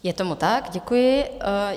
Je tomu tak, děkuji.